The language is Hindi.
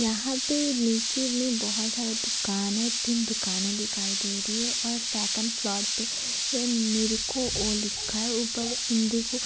यहा पे नीचे मे बहुत सारे दुकाने दिखाई दे रही है और सेकंड फ्लोर पे एनेरेको ओ लिखा है ऊपर इंडिगो--